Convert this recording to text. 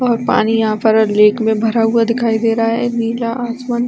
और पानी यहाँ पर रेक में भरा हुआ दिखाई दे रहा है नीला आसमान--